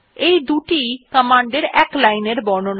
দুটি ই কমান্ডের এক লাইন এর বর্ণনা দেয়